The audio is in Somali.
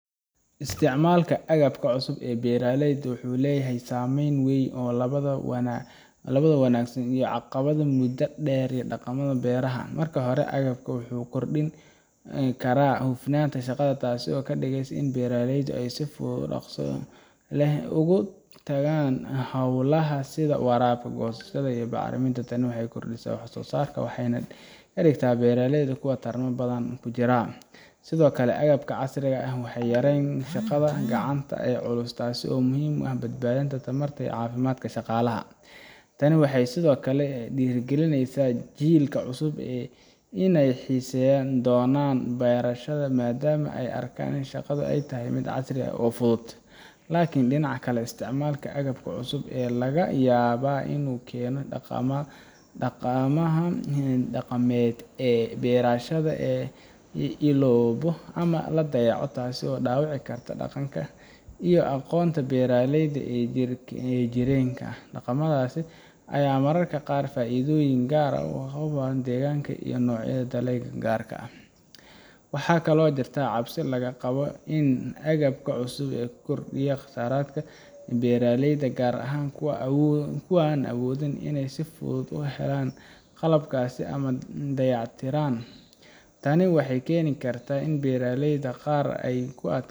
Isticmaalka agabka cusub ee beeraleyda wuxuu leeyahay saamayn weyn oo labadaba wanaagsan iyo caqabadaha muddada dheer ee dhaqamada beeraha. Marka hore, agabkani wuxuu kordhin karaa hufnaanta shaqada, taasoo ka dhigaysa in beeraleydu ay si fudud oo dhaqso leh u gutaan hawlahooda sida waraabka, goosashada iyo bacriminta. Tani waxay kordhisaa wax soo saarka waxayna ka dhigtaa beeraha kuwo tartan badan ku jira. Sidoo kale, agabka casriga ah waxay yareeyaan shaqada gacanta ee culus, taas oo muhiim u ah badbaadinta tamarta iyo caafimaadka shaqaalaha. Tani waxay sidoo kale dhiirrigelisaa jiilka cusub inay xiisayn doonaan beerashada maadaama ay arkaan in shaqadu tahay mid casri ah oo fudud. Laakiin dhinaca kale, isticmaalka agabka cusub ayaa laga yaabaa inuu keeno in dhaqamada dhaqameed ee beerashada la iloobo ama la dayaco, taasoo dhaawici karta dhaqanka iyo aqoonta beeraleyda ee soo jireenka ah. Dhaqamadaas ayaa mararka qaar leh faa’iidooyin gaar ah oo ku habboon deegaanka iyo noocyada dalagyada gaarka ah. Waxaa kaloo jirta cabsi laga qabo in agabka cusub uu kordhiyo kharashaadka beeraleyda, gaar ahaan kuwa aan awoodin inay si fudud u helaan qalabkaas ama dayactirkiisa. Tani waxay keeni kartaa in beeraleyda qaar ay ku adkaato